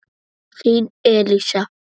Þín Elísa.